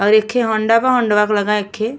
और एखे हौंडा बा हौंडावा के लगे एखे --